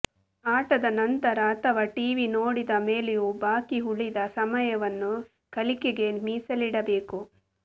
ಆಟದ ನಂತರ ಅಥವಾ ಟಿವಿ ನೋಡಿದ ಮೇಲೆಯೋ ಬಾಕಿ ಉಳಿದ ಸಮಯವನ್ನು ಕಲಿಕೆಗೇ ಮೀಸಲಿಡಬೇಕು